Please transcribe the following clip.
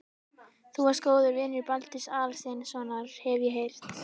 Þú varst góður vinur Baldurs Aðalsteinssonar, hef ég heyrt